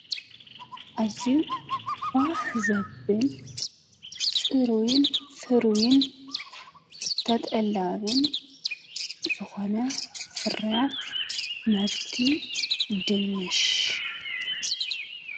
እዙ ባህ ዘብል ጽሩዊን ፍሩዊን ተጠላብን ዘኾነ ፍርያት መህርቲ ድንሽ።